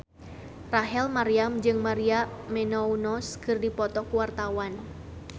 Rachel Maryam jeung Maria Menounos keur dipoto ku wartawan